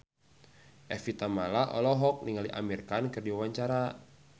Evie Tamala olohok ningali Amir Khan keur diwawancara